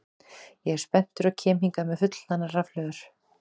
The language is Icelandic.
Ég er spenntur og kem hingað með fullhlaðnar rafhlöður.